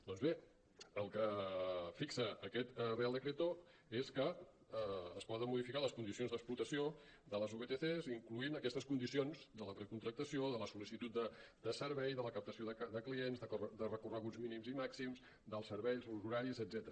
doncs bé el que fixa aquest real decreto és que es poden modificar les condicions d’explotació de les vtcs incloent hi aquestes condicions de la precontractació de la sol·licitud de servei de la captació de clients de recorreguts mínims i màxims dels serveis horaris etcètera